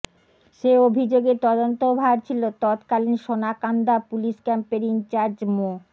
সে অভিযোগের তদন্তভার ছিল তৎকালীন সোনাকান্দা পুলিশ ক্যাম্পের ইনচার্জ মো